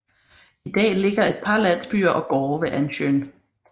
I dag ligger et par landsbyer og gårde ved Ånnsjön